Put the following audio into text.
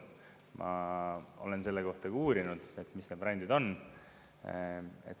Ma olen selle kohta uurinud, mis need variandid on.